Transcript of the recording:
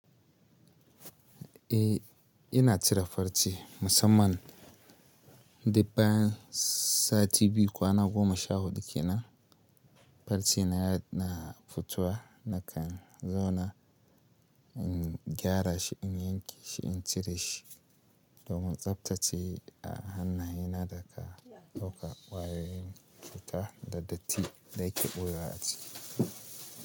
Eh ina cire farce musamman duk bayan sati biyu kwana goma sha huɗu kenan farce na yana futuwa nakan zauna in gyara shi in yanke shi in cire shi domin tsaftace a hannayena da ka dauka kwayoyin cuta da datti da yake ɓoye wa a ciki.